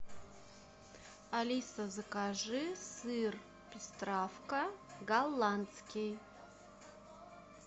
алиса закажи сыр пестравка голландский